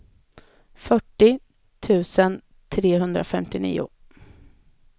fyrtio tusen trehundrafemtionio